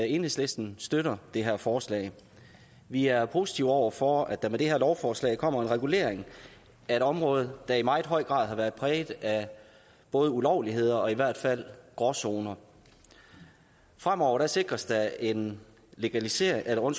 enhedslisten støtter det her forslag vi er positive over for at der med det her lovforslag kommer en regulering af et område der i meget høj grad har været præget af både ulovligheder og i hvert fald gråzoner fremover sikres der en legalisering og